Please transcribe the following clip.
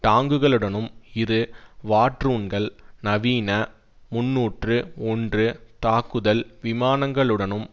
டாங்குகளுடனும் இரு வாட்ரூன்கள் நவீன முன்னூற்று ஒன்று தாக்குதல் விமானங்களுடனும்